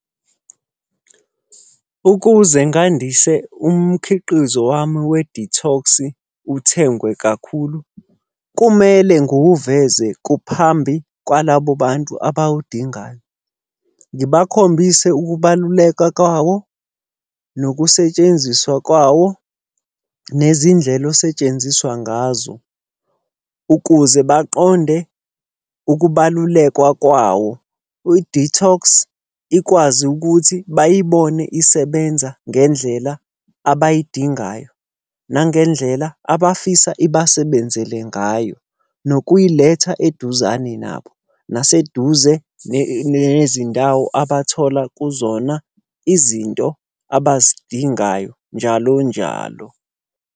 Ukuze ngandise umkhiqizo wami wedithoksi uthengwe kakhulu, kumele ngiwuveze phambi kwalabo bantu abawudingayo. Ngibakhombise ukubaluleka kwawo, nokusetshenziswa kwawo, nezindlela osetshenziswa ngazo, ukuze baqonde ukubaluleka kwawo. Idithoski ikwazi ukuthi bayibone isebenza ngendlela abayidingayo nangendlela abafisa ibasebenzele ngayo. Nokuyiletha eduzane nabo, nabaseduze nezindawo abathola kuzona izinto abazidingayo njalo njalo.